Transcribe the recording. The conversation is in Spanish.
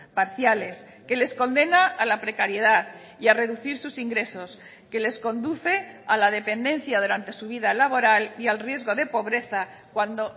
parciales que les condena a la precariedad y a reducir sus ingresos que les conduce a la dependencia durante su vida laboral y al riesgo de pobreza cuando